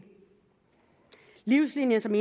livslinien som